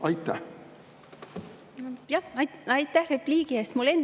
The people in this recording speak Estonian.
Aitäh repliigi eest!